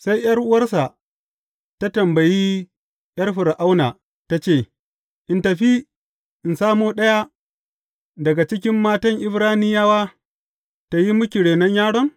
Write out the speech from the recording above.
Sai ’yar’uwarsa ta tambayi ’yar Fir’auna, ta ce, In tafi in samo ɗaya daga cikin matan Ibraniyawa tă yi miki renon yaron?